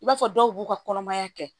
I b'a fɔ dɔw b'u ka kɔnɔmaya kɛ